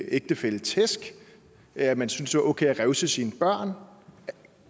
ægtefælle tæsk eller at man synes det var okay at revse sine børn